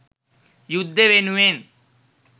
යුද්දෙ වෙනුවෙන්